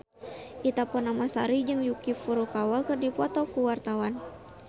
Ita Purnamasari jeung Yuki Furukawa keur dipoto ku wartawan